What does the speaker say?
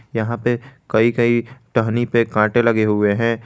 यहां पे कई कई टहनी पर कांटे लगे हुए हैं।